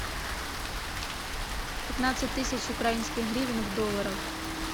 пятнадцать тысяч украинских гривен в долларах